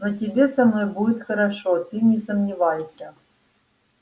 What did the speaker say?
но тебе со мной будет хорошо ты не сомневайся